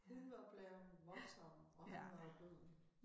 Hun var blevet voldtaget og han var bøddel